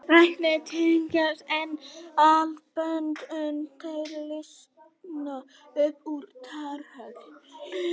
Ræturnar teygjast eins og axlabönd uns þær slitna upp úr startholunum